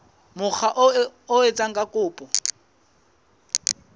mokga oo a etsang kopo